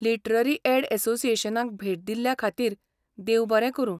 Literary aid असोसिएशनाक भेट दिल्ल्याखातीर देव बरें करूं.